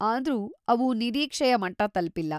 ಆದ್ರೂ, ಅವು ನಿರೀಕ್ಷೆಯ ಮಟ್ಟ ತಲ್ಪಿಲ್ಲ.